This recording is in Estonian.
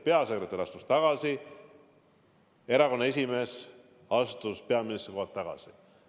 Peasekretär astus tagasi, erakonna esimees astus peaministri kohalt tagasi.